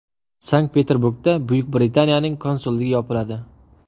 Sankt-Peterburgda Buyuk Britaniyaning konsulligi yopiladi.